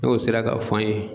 N'o sera ka fɔ an ye